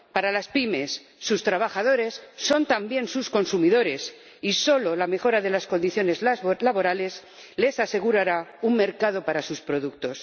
Para las pymes, sus trabajadores son también sus consumidores y solo la mejora de las condiciones laborales les asegurará un mercado para sus productos.